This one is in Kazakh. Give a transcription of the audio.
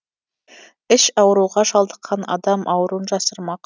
іш ауруға шалдыққан адам ауруын жасырмақ